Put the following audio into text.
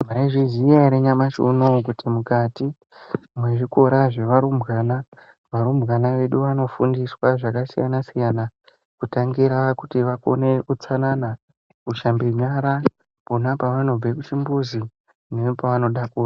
Maizviziva ere nyamashi unowu kuti mukati mezvikora zvevarumbwana varumbwana vedu vanofundiswa zvakasiyana siyana kutangira kuti vakone utsanana kuhlamba nyara pona panobva kuchimbuzi nepavanoda ku.